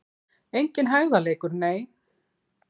Enginn hægðarleikur, nei!